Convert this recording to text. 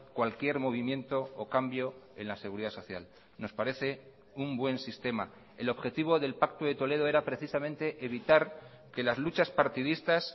cualquier movimiento o cambio en la seguridad social nos parece un buen sistema el objetivo del pacto de toledo era precisamente evitar que las luchas partidistas